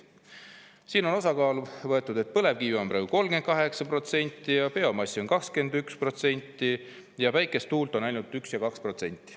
Siin on põlevkivi osakaal 38% ja biomass 21%, päikest ja tuult on ainult 1% ja 2%.